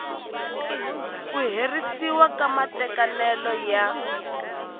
ku herisiwa ka matekanelo ya